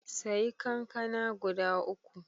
Saye kankana guda uku.